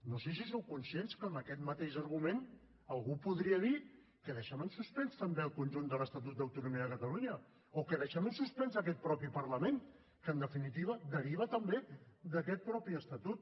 no sé si sou conscients que amb aquest mateix argument algú podria dir que deixem en suspens també el conjunt de l’estatut d’autonomia de catalunya o que deixem en suspens aquest mateix parlament que en definitiva deriva també d’aquest mateix estatut